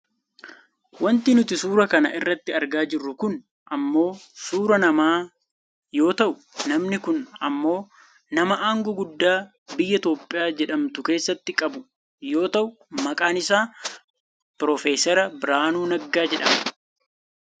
Wanti nuti suuraa kana irratti argaa jirru kun ammoo suuraa nama yoo ta'u, namni kun ammoo nama aangoo guddaa biyya Itoopiyaa jedhamtu keessatti qabu yoo ta'u maqaan isaa profeesar Biraanuu Nagaa jedhama